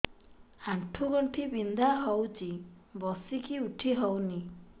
ଆଣ୍ଠୁ ଗଣ୍ଠି ବିନ୍ଧା ହଉଚି ବସିକି ଉଠି ହଉନି